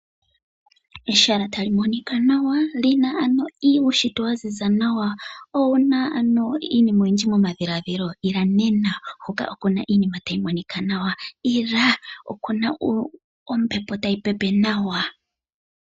Ehala ta li monika nawa li na uunshitwe wa ziza nawa. Owu na iinima oyindji momadhiladhilo? Ila nena huka oku na iinima tayi monika nawa. Ila! Oku na ombepo tayi pepe nawa.